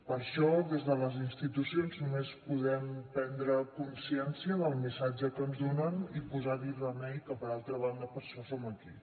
per això des de les institucions només podem prendre consciència del missatge que ens donen i posar hi remei que per altra banda per això som aquí